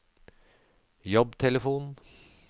jobbtelefon